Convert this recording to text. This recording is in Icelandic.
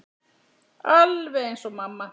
Alveg eins og mamma.